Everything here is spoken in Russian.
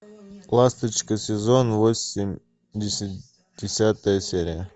ласточка сезон восемь десятая серия